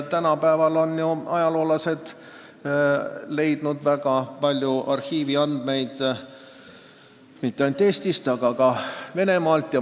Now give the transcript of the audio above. Tänapäeval on ajaloolased leidnud väga palju arhiiviandmeid mitte ainult Eestist, vaid ka Venemaalt.